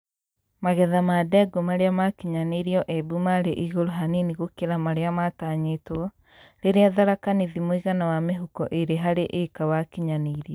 Magetha ma ndengũ marĩa makinyanĩirio Embu marĩ igũrũ hanini gũkĩra marĩa matanyĩtwo, riria Tharaka Nithi mũigana wa mĩhuko ĩĩrĩ harĩ ĩĩka wakinyanĩirio